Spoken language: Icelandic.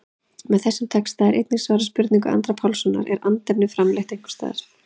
Með þessum texta er einnig svarað spurningu Andra Pálssonar, Er andefni framleitt einhvers staðar?